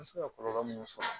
An bɛ se ka kɔlɔlɔ mun sɔrɔ